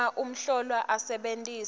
uma umhlolwa asebentisa